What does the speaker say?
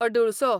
अडुळसो